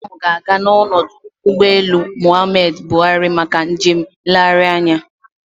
Ụmụakwụkwọ ahụ ga-aga n'ọdụ ụgbọelu Muhammadu Buhari maka njem nlegharị anya